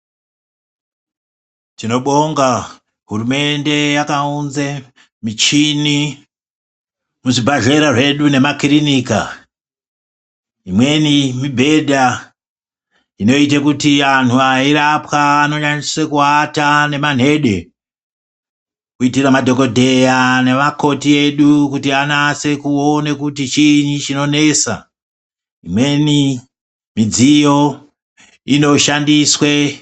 Tinobonga hurumende yakaunze michini muzvibhehlera zvedu nemakirinika imweni mibhedha inoite kuti anhu eirapwa anoanyanyisa kuata nemanhede kuitira madhokodheya nemakoti edu kuti anase kuona kuti chiinyi chinonesa, imweni midziyo inoshandiswe....